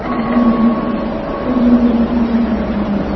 और रंग बिरंगे बिल्डिंगे भी नजर आ रही हैं।